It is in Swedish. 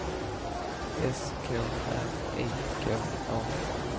S K R I K A